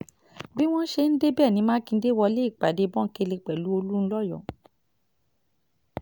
bí wọ́n ṣe débẹ̀ ní mákindé wọlé ìpàdé bòńkẹ́lẹ́ pẹ̀lú olùńlọ́yọ̀